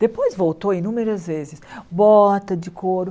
Depois voltou inúmeras vezes, bota de couro.